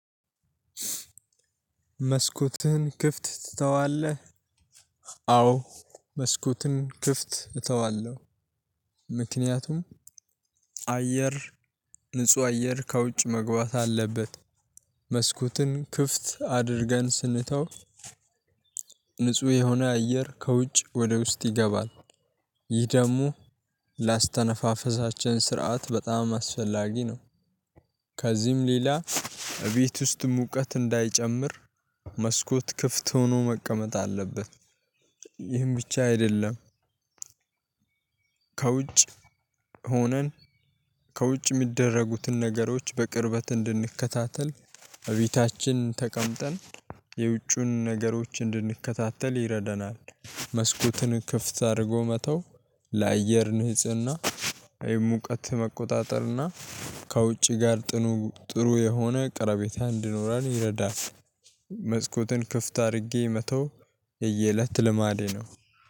መስኮትህን ክፍት ትተዋለህ? አዎ መስኮትን ክፍት እተዋለሁ። ምክንያቱም አየር ንጹህ አየር ከውጭ መግባት አለበት። መስኮትን ክፍት አድርገን ስንተው። ንጹህ የሆነ አየር ከውጭ ወደ ውስጥ ይገባል። ይህ ደግሞ ለአተነፋፈሳችን ስርዓት በጣም አስፈላጊ ነው። ከዚህም ሌላ እቤት ውስጥ ሙቀት እንዳይጨምር መስኮት ክፍት ሆኖ መቀመጥ አለበት። ይህን ብቻ አይደለም። ከውጭ ሆነን ከውጭ የሚደረጉትን ነገሮች በቅርበት እንድንከታተል እቤታችን ተቀምጠን የውጩን ነገሮች እንድንከታተል ይረደናል። መስኮትን ክፍት አድርጎ መተው። ለአየር ንጽህና ይህ ሙቀት መቆጣጠር እና ከውጪ ጋር ጥሩ የሆነ ቀረቤታ እንድኖረን ይረዳል። መስኮትን ክፍት አድርጌ መተው የየእለት ልማዴ ነው።